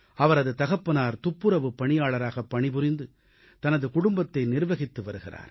அவரது தகப்பனார் துப்புரவுப் பணியாளராகப் பணிபுரிந்து தனது குடும்பத்தை நிர்வகித்து வருகிறார்